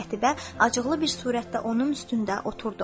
Qətibə acıqlı bir surətdə onun üstündə oturdu.